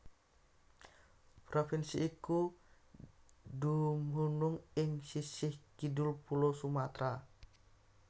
Provinsi iku dumunung ing sisih kidul Pulo Sumatra